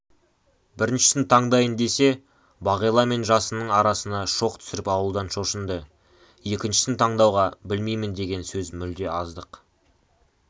біріншісін таңдайын десе бағила мен жасынның арасына шоқ түсіріп алудан шошынды екіншісін таңдауға білмеймін деген сөз мүлде аздық